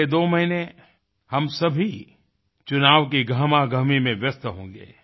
अगले दो महीने हम सभी चुनाव की गहमागहमी में व्यस्त होगें